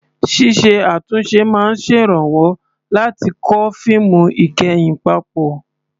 Ṣíṣe àtúnṣe máa ń ṣèrànwọ́ láti kó fíìmù ìkẹyìn papọ̀.